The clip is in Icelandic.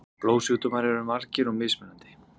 Blóðsjúkdómar eru margir og mismunandi.